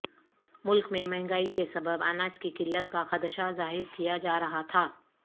ملک میں مہنگائی کے سبب اناج کی قلت کا خدشہ ظاہر کیا جارہا تھا